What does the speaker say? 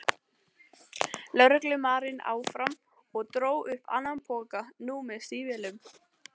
lögreglumaðurinn áfram og dró upp annan poka, nú með stígvélum.